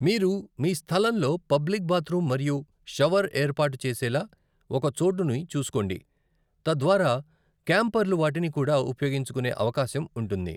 మీరు మీ స్థలంలో పబ్లిక్ బాత్రూమ్ మరియు షవర్ ఏర్పాటు చేసేలా ఒక చోటుని చూసుకోండి, తద్వారా క్యాంపర్లు వాటిని కూడా ఉపయోగించుకునే అవకాశం ఉంటుంది.